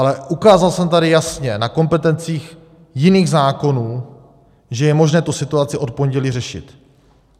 Ale ukázal jsem tady jasně na kompetencích jiných zákonů, že je možné tu situaci od pondělí řešit.